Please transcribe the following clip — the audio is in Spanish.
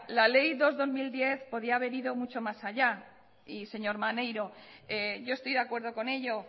la ley dos barra dos mil diez podía haber ido mucho más allá y señor maneiro yo estoy de acuerdo con ello